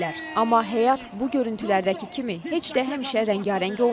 Amma həyat bu görüntülərdəki kimi heç də həmişə rəngarəng olmur.